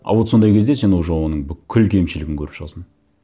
а вот сондай кезде сен уже оның бүкіл кемшілігін көріп шығасың